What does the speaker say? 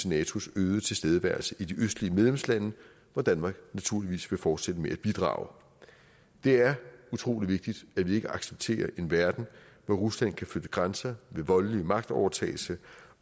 natos øgede tilstedeværelse i de østlige medlemslande hvor danmark naturligvis vil fortsætte med at bidrage det er utrolig vigtigt at vi ikke accepterer en verden hvor rusland kan flytte grænser ved voldelig magtovertagelse